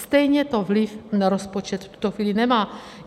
Stejně to vliv na rozpočet v tuto chvíli nemá.